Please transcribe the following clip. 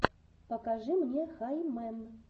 покажи мне хай мэн